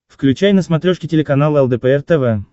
включай на смотрешке телеканал лдпр тв